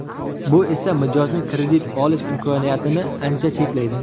Bu esa mijozning kredit olish imkoniyatini ancha cheklaydi.